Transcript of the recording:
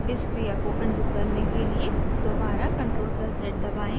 इस क्रिया को अनडू करने के लिए दोबारा ctrl + z दबाएं